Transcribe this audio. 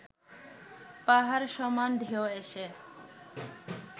পাহাড় সমান ঢেউ এসে